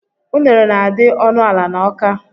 Unere na -adi ọnụ ala n' Awka